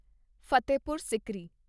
Fatehpur Sikri